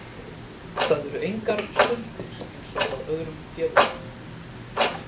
Það eru engar skuldir eins og hjá öðrum félögum.